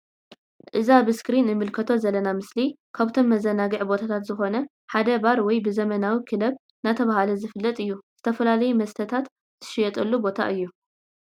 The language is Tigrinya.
እዚ ኣብ እስክሪን እንምልከቶ ዘለና ምስሊ ካብቶም መዘናግዒ ቦታታት ዝኮነ ሓደ ባር ወይ ብ ዘመናዊ ክለብ ዳተብሃለ ዝፈለጥ እዩ ።ዝተፈላለዩ መስተታት ዝሽየጠሉ ቦታ እዩ።